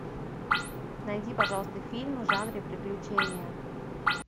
найди пожалуйста фильм в жанре приключения